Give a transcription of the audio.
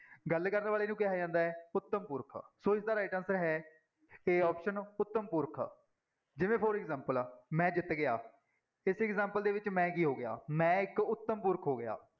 ਗੱਲ ਕਰਨ ਵਾਲੇ ਨੂੰ ਕਿਹਾ ਜਾਂਦਾ ਹੈ ਉੱਤਮ ਪੁਰਖ, ਸੋ ਇਸਦਾ right answer ਹੈ a option ਉੱਤਮ ਪੁਰਖ, ਜਿਵੇਂ for example ਮੈਂ ਜਿੱਤ ਗਿਆ, ਇਸ example ਦੇ ਵਿੱਚ ਮੈਂ ਕੀ ਹੋ ਗਿਆ, ਮੈਂ ਇੱਕ ਉੱਤਮ ਪੁਰਖ ਹੋ ਗਿਆ।